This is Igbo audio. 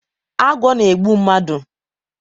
Agwọ na egbu mmadu